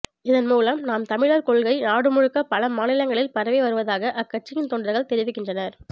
இதன் மூலம் நாம் தமிழர் கொள்கை நாடு முழுக்க பல மாநிலங்களில் பரவி வருவதாக அக்கட்சியின் தொண்டர்கள் தெரிவிக்கின்றனர்